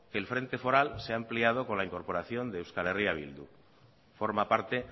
que el frente foral se ha ampliado con la incorporación de euskal herria bildu forma parte